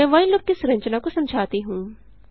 मैं while loop की संरचना को समझाती हूँ